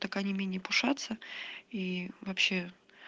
так они менее пушатся и вообще